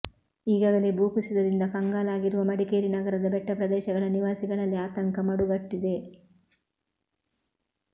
ಈಗಾಗಲೇ ಭೂ ಕುಸಿತದಿಂದ ಕಂಗಾಲಾಗಿರುವ ಮಡಿಕೇರಿ ನಗರದ ಬೆಟ್ಟ ಪ್ರದೇಶಗಳ ನಿವಾಸಿಗಳಲ್ಲಿ ಆತಂಕ ಮಡುಗಟ್ಟಿದೆ